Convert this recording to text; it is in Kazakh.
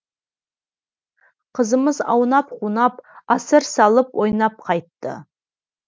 қызымыз аунап қунап асыр салып ойнап қайтты